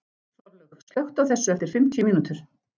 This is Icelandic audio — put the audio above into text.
Þorlaug, slökktu á þessu eftir fimmtíu mínútur.